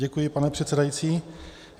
Děkuji, pane předsedající.